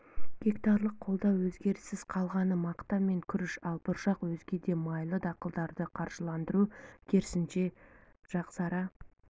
гектарлық қолдауда өзгеріссіз қалғаны мақта мен күріш ал бұршақ өзге де майлы дақылдарды қаржыландыру керісінше жақсара